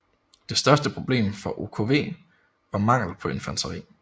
Det største problem for OKW var mangel på infanteri